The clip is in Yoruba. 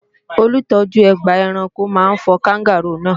Olùtọ́jú ọgbà ẹranko máa fọ Káńgàróò náà